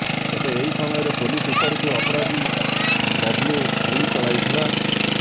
ତେବେ ଏହି ସମୟରେ ପୋଲିସ ଉପରକୁ ଅପରାଧୀ ବବ୍ଲୁ ଗୁଳି ଚଳାଇଥିଲା